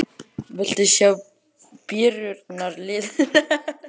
Viltu sjá byrjunarliðin?